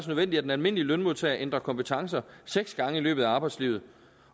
nødvendigt at den almindelige lønmodtager ændrer kompetencer seks gange i løbet af arbejdslivet